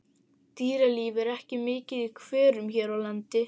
Dýralíf er ekki mikið í hverum hér á landi.